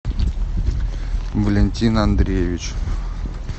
валентин андреевич